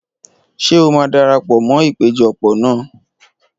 Ṣé o máa darapọ̀ mọ́ ìpéjọpọ̀ náà?